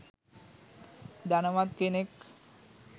ධනවත් කෙනෙක්